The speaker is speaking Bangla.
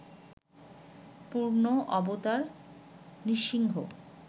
পূর্ণ অবতার নৃসিংহ